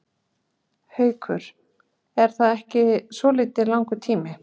Haukur: Er það ekki svolítið langur tími?